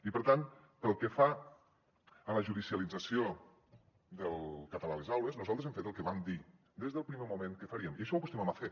i per tant pel que fa a la judicialització del català a les aules nosaltres hem fet el que vam dir des del primer moment que faríem i això ho acostumem a fer